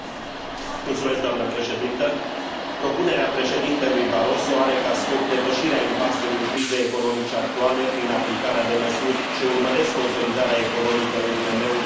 Propunerea președintelui Barroso are ca scop depășirea impasului crizei economice actuale prin aplicarea de măsuri ce urmăresc consolidarea economică a IMM urilor și reducerea șomajului în rândul tinerilor.